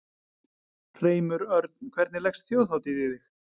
Hreimur Örn, hvernig leggst Þjóðhátíð í þig?